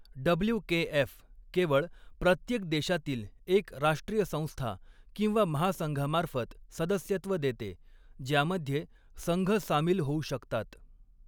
WKF. केवळ प्रत्येक देशातील एक राष्ट्रीय संस्था किंवा महासंघामार्फत सदस्यत्व देते, ज्यामध्ये संघ सामील होऊ शकतात.